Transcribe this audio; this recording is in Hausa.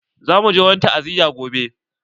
Za mu je wani ta'aziya gobe.